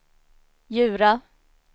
Djura